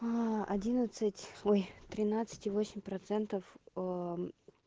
одиннадцать ой тринадцать и восемь процентов